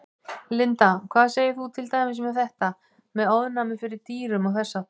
Linda: Hvað segir þú til dæmis með þetta, með ofnæmi fyrir dýrum og þess háttar?